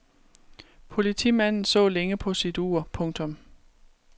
Politimanden så længe på sit ur. punktum